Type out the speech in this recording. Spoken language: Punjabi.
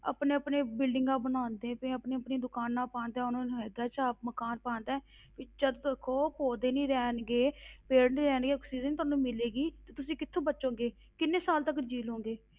ਆਪਣੇ ਆਪਣੇ buildings ਬਣਾਉਂਦੇ ਪਏ ਆ, ਆਪਣੀਆਂ ਆਪਣੀਆਂ ਦੁਕਾਨਾਂ ਪਾਉਂਦੇ ਆ, ਉਹਨਾਂ ਨੂੰ ਹੈਗਾ ਚਾਅ ਮਕਾਨ ਪਾਉਣ ਦਾ ਵੀ ਜਦ ਦੇਖੋ ਪੌਦੇ ਨੀ ਰਹਿਣਗੇ ਪੇੜ ਨੀ ਰਹਿਣਗੇ ਆਕਸੀਜਨ ਤੁਹਾਨੂੰ ਮਿਲੇਗੀ ਤੇ ਤੁਸੀਂ ਕਿੱਥੋਂ ਬਚੋਗੇ, ਕਿੰਨੇ ਸਾਲ ਤੱਕ ਜੀਅ ਲਓਗੇ,